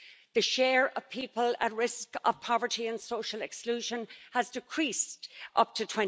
the share of people at risk of poverty and social exclusion decreased up to